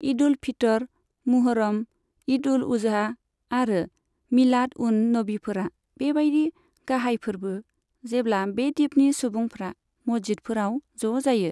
ईद उल फितर, मुहर्रम, ईद उल अजहा आरो मिलाद उन नबीफोरा बेबायदि गाहाय फोरबो, जेब्ला बे द्वीपनि सुबुंफ्रा मस्जिदफोराव ज' जायो।